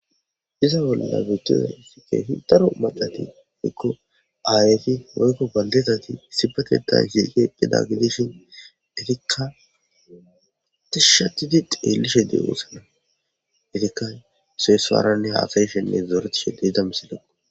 Iza bolla bettiza isike hindaru madati nikko aayeyti hoykko baldeetati sibatetayn siiqe gidagidishin itikka tishshatidi deelishe deewo sana itikka oseyessaranne haasay shenne zooretshededamisidako